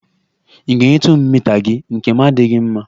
Ị ga-enyetụ m mita gị, nkem adịghị mma